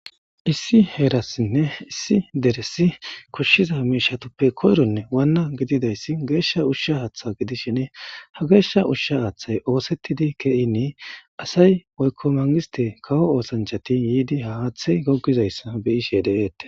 issi heerassinne issi deressi koshshiza miishatappe koyronne waanna gididayssi geeshsha ushsha haaththa gidishiene ha geeshsha ushsha aaththay oosettidi keyinii asay woykko mangiste kawo oosanchati yiidi ha aaththey goggizayssa beyishe deeette